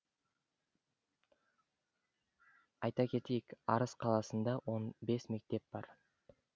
айта кетейік арыс қаласында он бес мектеп бар